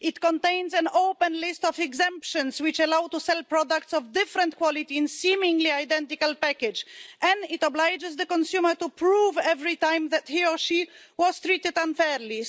It contains an open list of exemptions, which allow to sell products of different quality in seemingly identical packaging, and it obliges the consumer to prove every time that he or she was treated unfairly.